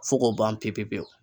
Fo k'o ban pe pe pewu